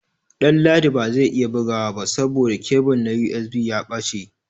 Danladi ba zai iya bugawa ba saboda kebul na USB ya ɓace.